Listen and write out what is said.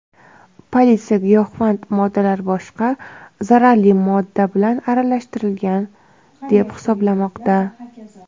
Politsiya giyohvand moddalar boshqa zaharli modda bilan aralashtirilgan deb hisoblamoqda.